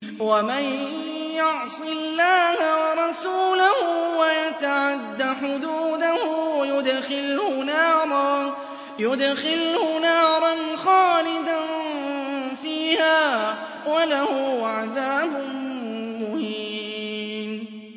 وَمَن يَعْصِ اللَّهَ وَرَسُولَهُ وَيَتَعَدَّ حُدُودَهُ يُدْخِلْهُ نَارًا خَالِدًا فِيهَا وَلَهُ عَذَابٌ مُّهِينٌ